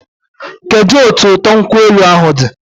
Kedụ otu ụtọ nkwụ elu ahụ dị?